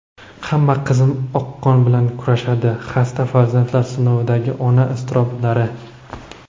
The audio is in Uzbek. ham qizim oqqon bilan kurashadi – xasta farzandlar sinovidagi ona iztiroblari.